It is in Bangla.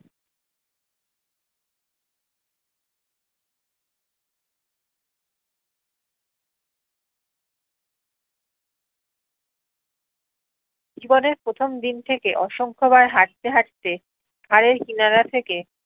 জীবনের প্রথম থেকে অসংখ্য বার হারতে হারতে হারের কিনারা থেকে